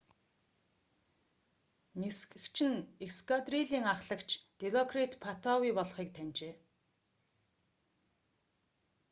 нисгэгч нь эскадрилийн аххлагч дилокрит паттавий болохыг таньжээ